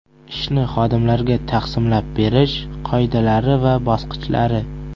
Ishni xodimlarga taqsimlab berish qoidalari va bosqichlari.